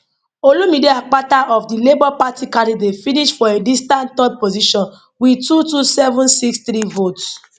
olumide akpata of di labour party candidate finish for a distant third position wit 22763 votes